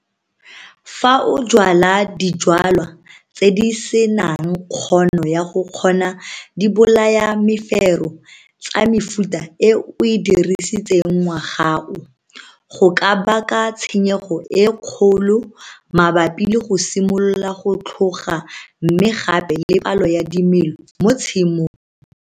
Fa o jwala dijwalwa tse di se nang kgono ya go kgona dibolayamefero tsa mefuta e o e dirisitseng ngwaga o, go ka baka tshenyego e kgolo mabapi le go simolola go tlhoga mme gape le palo ya dimela mo tshimong.